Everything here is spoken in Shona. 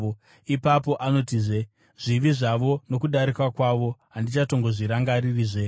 Ipapo anotizve: “Zvivi zvavo nokudarika kwavo handizozvirangarirezve.”